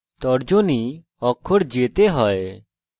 তর্জনী অক্ষর j এ হয়